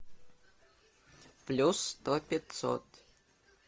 плюс сто пятьсот